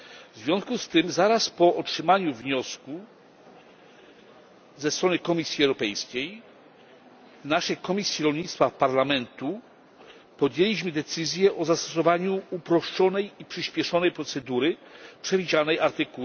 W związku z tym zaraz po otrzymaniu wniosku ze strony Komisji Europejskiej w naszej Komisji Rolnictwa w Parlamencie podjęliśmy decyzję o zastosowaniu uproszczonej i przyśpieszonej procedury przewidzianej art.